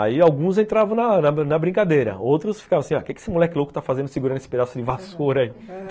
Aí alguns entravam na na brincadeira, outros ficavam assim, ó, o que esse moleque louco tá fazendo segurando esse pedaço de vassoura aí?